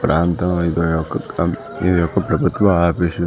ప్రాంతం ఏదో ఒక ఇది ఒక ప్రభుత్వ ఆఫీస్ .